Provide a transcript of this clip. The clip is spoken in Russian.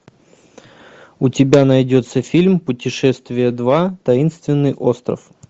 у тебя найдется фильм путешествие два таинственный остров